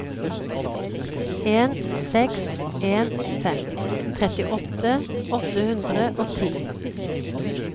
en seks en fem trettiåtte åtte hundre og ti